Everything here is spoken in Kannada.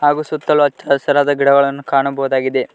ಹಾಗು ಸುತ್ತಲು ಹಚ್ಚ ಹಸಿರಾದ ಗಿಡಗಳನ್ನು ಕಾಣಬೋದಾಗಿದೆ.